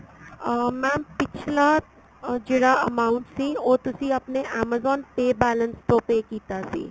ਅਹ mam ਪਿੱਛਲਾ ਜਿਹੜਾ amount ਸੀ ਉਹ ਤੁਸੀਂ ਆਪਣੇ amazon pay balance ਤੋਂ pay ਕੀਤਾ ਸੀ